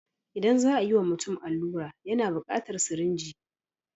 Idan za a yiwa mutum allura yana bukatar sirinji.